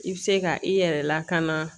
I bɛ se ka i yɛrɛ lakana